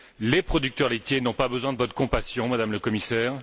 Les producteurs laitiers n'ont pas besoin de votre compassion, Madame la Commissaire.